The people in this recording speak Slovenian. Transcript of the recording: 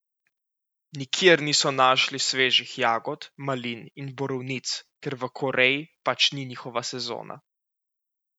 Nikjer niso našli svežih jagod, malin in borovnic, ker v Koreji pač ni njihova sezona.